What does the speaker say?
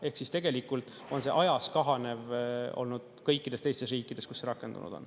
Ehk siis tegelikult on see ajas kahanev olnud kõikides teistes riikides, kus see rakendunud on.